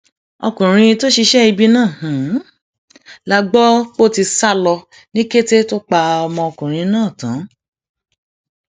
ọkùnrin tó ṣiṣẹ ibi náà la gbọ pó ti sá lọ ní kété tó pa ọmọkùnrin náà tán